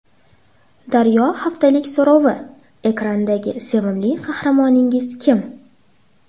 Daryo haftalik so‘rovi: Ekrandagi sevimli qahramoningiz kim?.